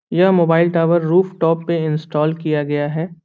यह mobile tower roof top पे install किया गया है।